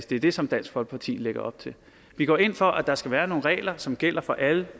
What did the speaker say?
det det som dansk folkeparti lægger op til vi går ind for at der skal være nogle regler som gælder for alle